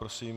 Prosím.